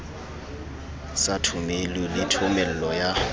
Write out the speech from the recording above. sa thomelo le thomello ya